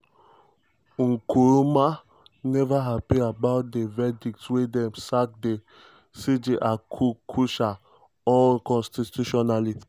nkrumah neva happy about di verdict wia im sack di cj arku korsah unconstitutionally.